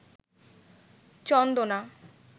চন্দনা